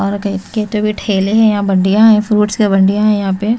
और के तो भी ठेले हैं यहां बढ़ियां है फ्रूट्स हैं बढ़ीयां है यहां पे--